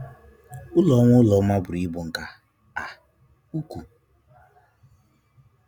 Ụlọ ọma Ụlọ ọma bụrụ ibu nke um ụkwu u.